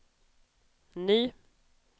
ny